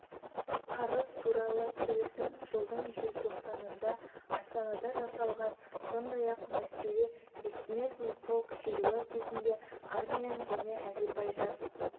қарыз туарлы келісім жылдың желтоқсанында астанада жасалған сондай-ақ мәскеуде бессмертный полк шеруі кезінде армян және әзербайжан